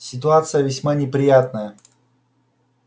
ситуация весьма неприятная